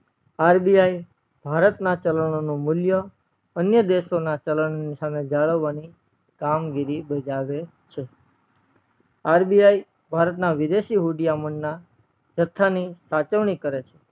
RBI Bharat ના ચલનઓ નું મુલ્ય અન્ય દેશો ના ચલન સામે જાળવવાની કામગીરી બજાવે છે RBI ભારત ના વિદેશી હુદીયમન ના જથ્થા ની સાચવણી કરે છે